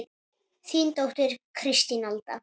Þín dóttir Kristín Alda.